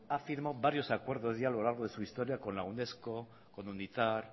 ha firmado varios acuerdos ya a lo largo de su historia con la unesco con unita